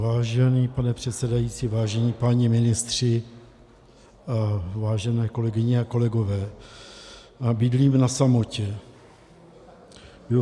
Vážený pane předsedající, vážení páni ministři, vážené kolegyně a kolegové, bydlím na samotě.